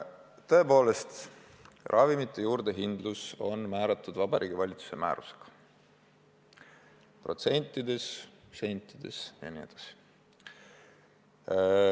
Tõepoolest, ravimite juurdehindlus on määratud Vabariigi Valitsuse määrusega – protsentides, sentides jne.